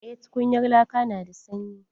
Eh tukunyar laka na da sanyi.